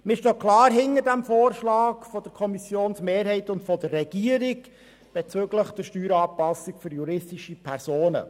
Wir stehen klar hinter dem Vorschlag der Kommissionsmehrheit und der Regierung bezüglich der Steueranpassung für juristische Personen.